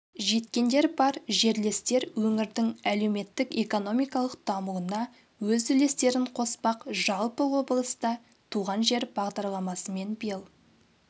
жеткендер бар жерлестер өңірдің әлеуметтік-экономикалық дамуына өз үлестерін қоспақ жалпы облыста туған жер бағдарламасымен биыл